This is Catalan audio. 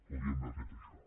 podíem haver fet això